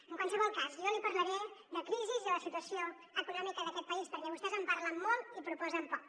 en qualsevol cas jo li parlaré de crisi i la situació econòmica d’aquest país perquè vostès en parlen molt i proposen poc